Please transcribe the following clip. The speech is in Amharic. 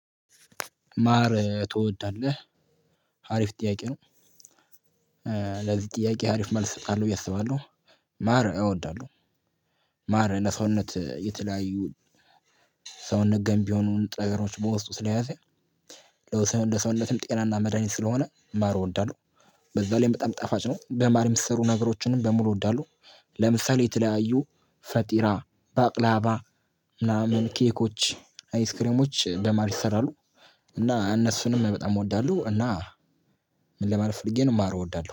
ማር ትወዳለህ አሪፍ ጥያቄ ነው። ለዚህ ጥያቄ አሪፍ መልስ እሰጣለሁ ብዬ አስባለው። ማር እወዳለሁ። ማር ለሰውነት የተለያዩ ሰውነት ገንቢ የሆኑን ንጥረነገሮች በውስጡ ስለያዘ ለውስ ለሰውነትም ጤናና መድሃኒት ስለሆነ ማር እወዳለሁ። በዛ ላይም በጣም ጣፋጭ ነው። በማር የሚሰሩ ነገሮችንም በሙሉ እወዳለሁ። ለምሳሌ የተለያዩ ፈጢራ ባቅላባ ምናምን ኬኮች አይስክሬሞች በማር ይሰራሉ። እና እነሱንም በጣም እወዳለሁ እና ለማለት ፈልጌ ነው። ማር እወዳለሁ